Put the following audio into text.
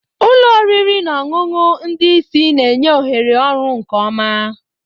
Ụlọ oriri na ọṅụṅụ ndị isi na-enye ohere ọrụ nke ọma.